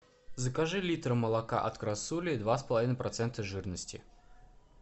закажи литр молока от красули два с половиной процента жирности